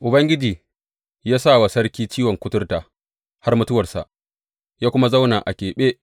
Ubangiji ya sa wa sarki ciwon kuturta har mutuwarsa, ya kuma zauna a keɓe.